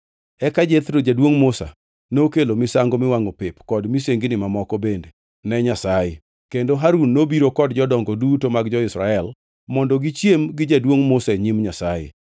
Eka Jethro, jaduongʼ Musa, nokelo misango miwangʼo pep kod misengni mamoko bende ne Nyasaye, kendo Harun nobiro kod jodongo duto mag jo-Israel mondo gichiem gi jaduongʼ Musa e nyim Nyasaye.